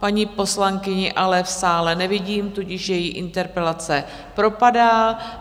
Paní poslankyni ale v sále nevidím, tudíž její interpelace propadá.